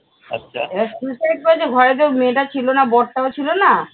suicide করেছে, ঘরেতো মেয়েটা ছিল না বড়টাও ছিল না